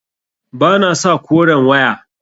Ba na sa koren waya.